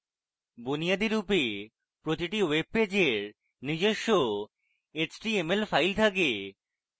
বুনিয়াদিরূপে প্রতিটি ওয়েবপেজের নিজস্ব html file রয়েছে